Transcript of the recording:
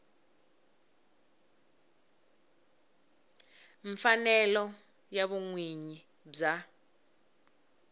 mfanelo ya vun winyi bya